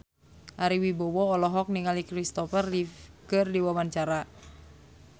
Ari Wibowo olohok ningali Kristopher Reeve keur diwawancara